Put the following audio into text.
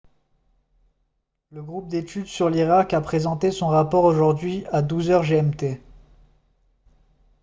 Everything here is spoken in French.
le groupe d'étude sur l'irak a présenté son rapport aujourd'hui à 12 h gmt